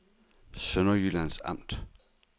Sønderjyllands Amt